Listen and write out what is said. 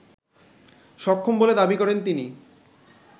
সক্ষম বলে দাবি করেন তিনি